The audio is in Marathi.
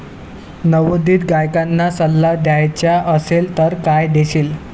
नवोदित गायकांना सल्ला द्यायचा असेल तर काय देशील?